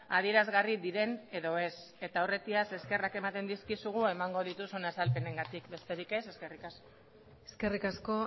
adierazgarri diren edo ez eta aurretiaz eskerrak ematen dizkizugu emango dituzun azalpenengatik besterik ez eskerrik asko eskerrik asko